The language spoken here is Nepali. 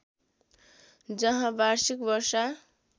जहाँ वार्षिक वर्षा